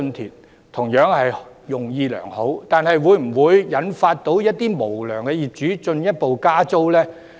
他們的建議同樣是用意良好，但會否引致一些無良業主進一步加租呢？